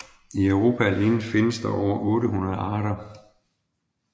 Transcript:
I Europa alene findes over 800 arter